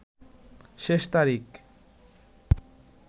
শেষ তারিখ